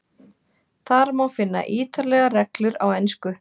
Þar má finna ítarlegar reglur á ensku.